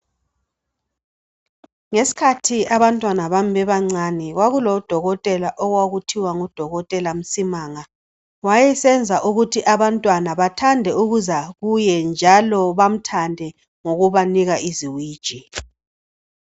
Ngesikhathi abantwana bami bebancane kwakulodokotela okwakuthiwa nguDokotela Msimanga. Wayesenza ukuthi abantwana bathande ukuza kuye njalo bamthande ngokubanika iziwiji.